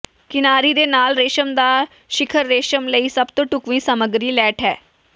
ਕਿਨਾਰੀ ਦੇ ਨਾਲ ਰੇਸ਼ਮ ਦਾ ਸਿਖਰ ਰੇਸ਼ਮ ਲਈ ਸਭ ਤੋਂ ਢੁਕਵੀਂ ਸਾਮੱਗਰੀ ਲੈਟ ਹੈ